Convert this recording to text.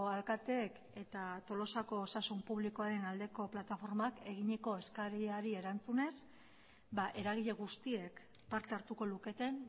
alkateek eta tolosako osasun publikoaren aldeko plataformak eginiko eskariari erantzunez eragile guztiek parte hartuko luketen